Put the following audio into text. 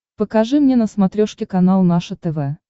покажи мне на смотрешке канал наше тв